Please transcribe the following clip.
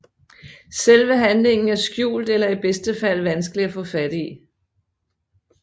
Selve handlingen er skjult eller i bedste fald vanskelig at få fat i